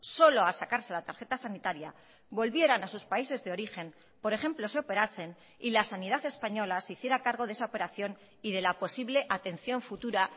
solo a sacarse la tarjeta sanitaria volvieran a sus países de origen por ejemplo se operasen y la sanidad española se hiciera cargo de esa operación y de la posible atención futura